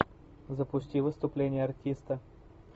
запусти выступление артиста